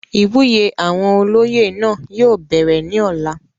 ìwúyè àwọn olóyè náà yóò bẹ̀rẹ̀ ní ọ̀la